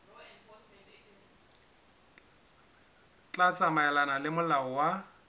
tla tsamaelana le molao wa